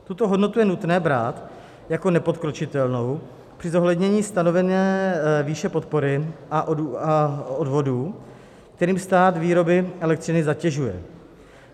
Tuto hodnotu je nutné brát jako nepodkročitelnou při zohlednění stanovení výše podpory a odvodů, kterými stát výrobny elektřiny zatěžuje.